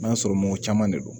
I b'a sɔrɔ mɔgɔ caman de don